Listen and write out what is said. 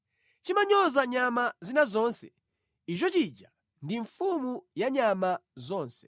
Chimanyoza nyama zina zonse; icho chija ndi mfumu ya nyama zonse.”